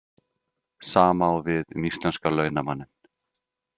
Sama á við um íslenska launamanninn.